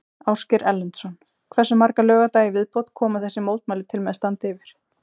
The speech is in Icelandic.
Ásgeir Erlendsson: Hversu marga laugardaga í viðbót koma þessi mótmæli til með að standa yfir?